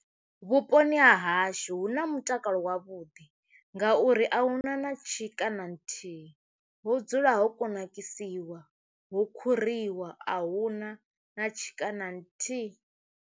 Vhuponi ha hashu hu na mutakalo wavhuḓi ngauri ahuna na tshika na nthihi ho dzula ho kunakisiwa ho khuriwa ahuna na tshika na nthihi.